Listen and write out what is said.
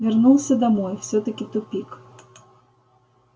вернулся домой всё-таки тупик